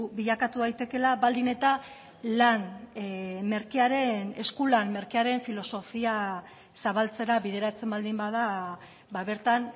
bilakatu daitekeela baldin eta lan merkearen eskulan merkearen filosofia zabaltzera bideratzen baldin bada bertan